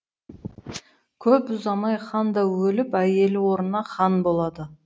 көп ұзамай хан да өліп әйелі орнына хан болады